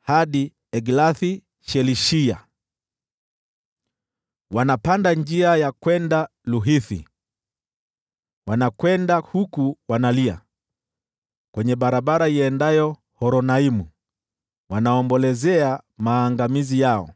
hadi Eglath-Shelishiya. Wanapanda njia ya kwenda Luhithi, wanakwenda huku wanalia; barabarani iendayo Horonaimu wanaombolezea maangamizi yao.